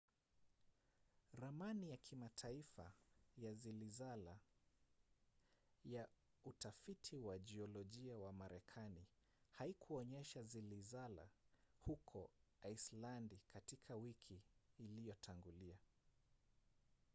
ramani ya kimataifa ya zilizala ya utafiti wa jiolojia wa marekani haikuonyesha zilizala huko aisilandi katika wiki iliyotangulia